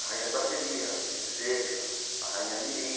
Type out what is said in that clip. A rainha de bateria, a princesa, a rainha Mirim,